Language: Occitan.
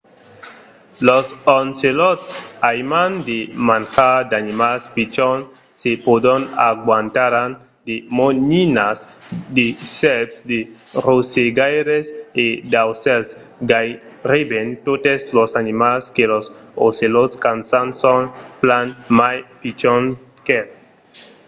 los ocelòts aiman de manjar d'animals pichons. se pòdon agantaràn de moninas de sèrps de rosegaires e d'aucèls. gaireben totes los animals que los ocelòts caçan son plan mai pichons qu'el